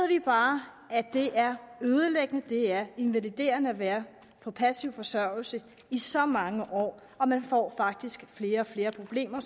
bare at det er ødelæggende at det er invaliderende at være på passiv forsørgelse i så mange år og man får faktisk flere og flere problemer